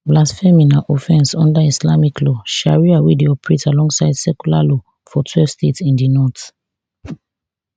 blasphemy na offence under islamic law sharia wey dey operate alongside secular law for twelve states in di north